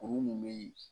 Kuru min be yen